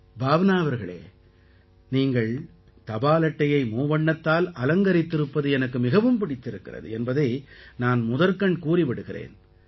பாவ்னா அவர்களே நீங்கள் தபால் அட்டையை மூவண்ணத்தால் அலங்கரித்திருப்பது எனக்கு மிகவும் பிடித்திருக்கிறது என்பதை நான் முதற்கண் கூறி விடுகிறேன்